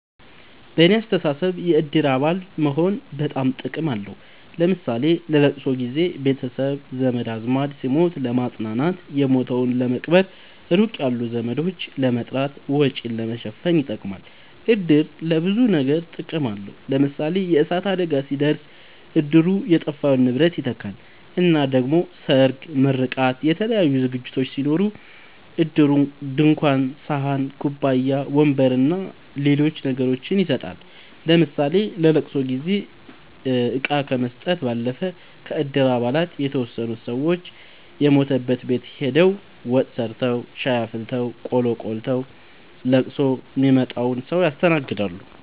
በኔ አስተሳሰብ የእድር አባል መሆን በጣም ጥቅም አለዉ ለምሳሌ ለለቅሶ ጊዘ ቤተሰብ ዘመድአዝማድ ሲሞት ለማጽናናት የሞተዉን ለመቅበር ሩቅ ያሉ ዘመዶችን ለመጥራት ወጪን ለመሸፈን ይጠቅማል። እድር ለብዙ ነገር ጥቅም አለዉ ለምሳሌ የእሳት አደጋ ሲደርስ እድሩ የጠፋውን ንብረት ይተካል እና ደሞ ሰርግ ምርቃት የተለያዩ ዝግጅቶች ሲኖሩ እድሩ ድንኳን ሰሀን ኩባያ ወንበር አና ሌሎች ነገሮችን ይሰጣል ለምሳሌ ለለቅሶ ጊዜ እቃ ከመስጠት ባለፈ ከእድር አባላት የተወሰኑት ሰወች የሞተበት ቤት ሆደው ወጥ ሰርተዉ ሻይ አፍልተው ቆሎ ቆልተዉ ለቅሶ ሚመጣዉን ሰዉ ያስተናግዳሉ።